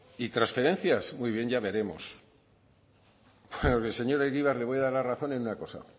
y transferencias muy bien ya veremos al señor egibar le voy a dar la razón en una cosa